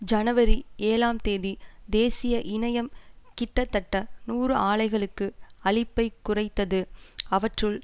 ஜனவரி ஏழாம் தேதி தேசிய இணையம் கிட்டத்தட்ட நூறு ஆலைகளுக்கு அளிப்பைக் குறைத்தது அவற்றுள்